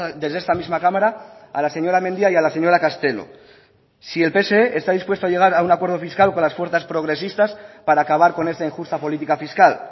desde esta misma cámara a la señora mendia y a la señora castelo si el pse está dispuesto a llegar a un acuerdo fiscal con las fuerzas progresistas para acabar con esta injusta política fiscal